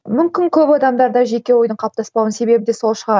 мүмкін көп адамдарда жеке ойыдың қалыптаспауының себебі де сол шығар